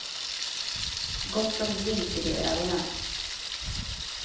Gott om glimt i de ögonen.